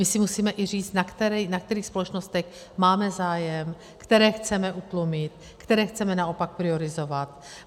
My si musíme i říct, na kterých společnostech máme zájem, které chceme utlumit, které chceme naopak priorizovat.